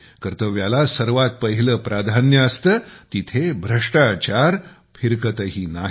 कर्तव्याला सर्वात पहिले प्राधान्य असते तिथे भ्रष्टाचार फिरकतही नाही